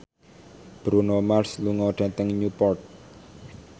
Bruno Mars lunga dhateng Newport